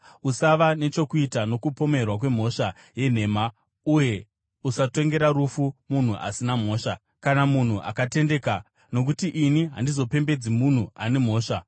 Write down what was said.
Usava nechokuita nokupomerwa kwemhosva yenhema uye usatongera rufu munhu asina mhosva, kana munhu akatendeka, nokuti ini handizopembedzi munhu ane mhosva.